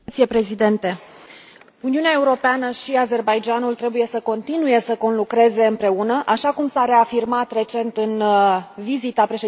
Uniunea Europeană și Azerbaidjanul trebuie să continue să conlucreze, așa cum s a reafirmat recent în vizita președintelui Aliev la Bruxelles.